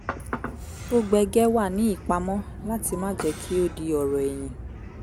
tó gbẹgẹ́ wà ní ìpamọ́ láti má jẹ́ kí ó di ọ̀rọ̀ ẹ̀yìn